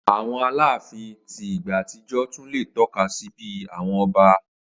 Awọn alaafin ti igba atijọ tun le tọka si bi awọn ọba.